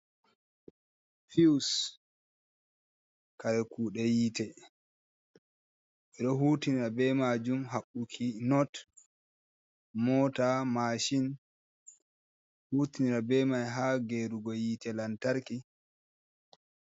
Fiws kare kuɗe yite ɓeɗo hutinira be majum ha haɓɓuki noot, mota, mashin, hutinira be mai ha gerugo yite lantarki.